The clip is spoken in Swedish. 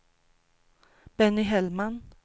Benny Hellman